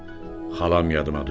Xalam yadıma düşür.